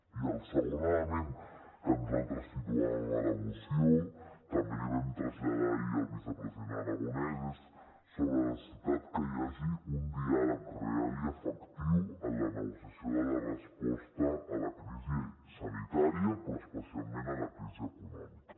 i el segon element que nosaltres situàvem a la moció també l’hi vam traslladar ahir al vicepresident aragonès és sobre la necessitat que hi hagi un diàleg real i efectiu en la negociació de la resposta a la crisi sanitària però especialment a la crisi econòmica